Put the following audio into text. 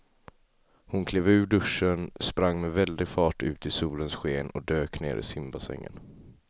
Hon klev ur duschen, sprang med väldig fart ut i solens sken och dök ner i simbassängen.